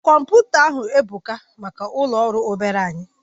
Komputa ahu ebuka maka ulo ọrụ obere anyi